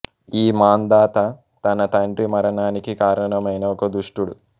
ఈ మాంధాత తన తండ్రి మరణానికి కారణమైన ఒక దుష్టుడు